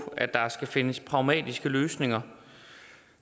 at der skal findes pragmatiske løsninger